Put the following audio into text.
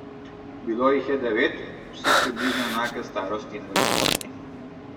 Bilo jih je devet, vsi približno enake starosti in velikosti.